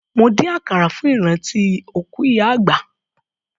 Mo dín àkàrà fún ìrántí òkú ìyá àgbà.